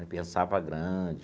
Ele pensava grande.